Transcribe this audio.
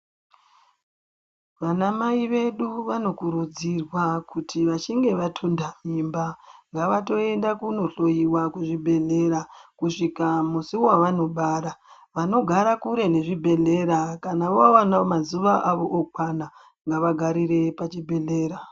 Vana mai vedu vanokurudzirwa kuti vachinge vatunda mimba ngavatoenda kunohloiwa kuzvibhedhlera kusvika musi wavanobara vanogara kure nezvibhedhlera kana wawana mazuva awo okwana ngavagarire pachibhehlera